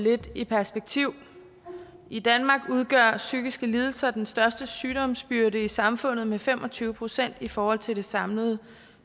lidt i perspektiv i danmark udgør psykiske lidelser den største sygdomsbyrde i samfundet med fem og tyve procent i forhold til det samlede